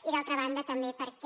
i d’altra banda també perquè